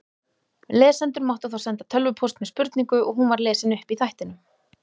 Lesendur máttu þá senda tölvupóst með spurningu og hún var lesin upp í þættinum.